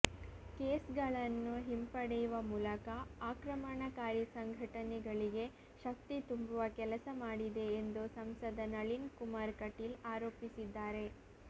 case ಗಳನ್ನು ಹಿಂಪಡೆಯುವ ಮೂಲಕ ಆಕ್ರಮಣಕಾರಿ ಸಂಘಟನೆಗಳಿಗೆ ಶಕ್ತಿ ತುಂಬುವ ಕೆಲಸ ಮಾಡಿದೆ ಎಂದು ಸಂಸದ ನಳಿನ್ ಕುಮಾರ್ ಕಟೀಲ್ಆರೋಪಿಸಿದ್ದಾರೆ